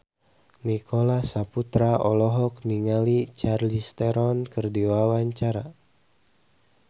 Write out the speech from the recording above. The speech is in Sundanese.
Nicholas Saputra olohok ningali Charlize Theron keur diwawancara